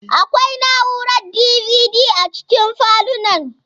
Akwai na'urar DVD a cikin falunan.